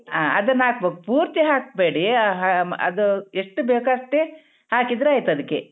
ಹ ಅದನ್ನ ಹಾಕ್ಬೇಕ್ ಪೂರ್ತಿ ಹಾಕ್ಬೇಡಿ ಹ ಆಮ್ ಅದೂ ಎಷ್ಟು ಬೇಕೊ ಅಷ್ಟೇ ಹಾಕಿದ್ರೆ ಆಯ್ತ್ ಅದಿಕ್ಕೆ.